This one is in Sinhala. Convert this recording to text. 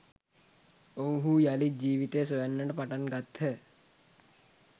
ඔවුහු යළිත් ජීවිතය සොයන්නට පටන් ගත්හ